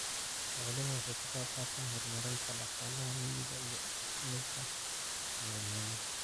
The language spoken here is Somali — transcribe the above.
Xooluhu waxay ka qaybqaataan horumarinta dhaqaalaha miyiga iyo dhimista saboolnimada.